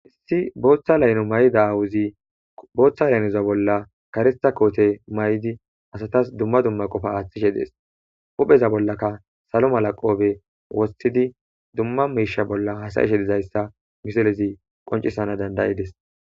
issi booththa layno may7ida aawuzi booththa laynoza bolla karista koote may7di asatas dumma dumma qofa aaththishe dees opheza bollaka salo mala qoobe wostidi dumma miisha bolla hasayishe dizayssa misolezi qoncisana dandayides